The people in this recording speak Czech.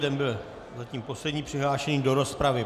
Ten byl zatím poslední přihlášený do rozpravy.